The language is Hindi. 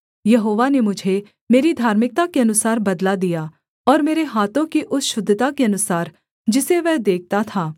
यहोवा ने मुझे मेरी धार्मिकता के अनुसार बदला दिया और मेरे हाथों की उस शुद्धता के अनुसार जिसे वह देखता था